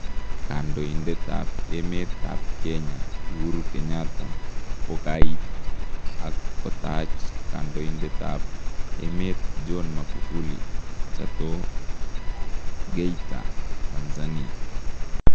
Kandoindetab emeetab kenya Uhuru Kenyatta kokaiit ak kotaach kandondetab emet John Magufuli Chato Geita Tanzania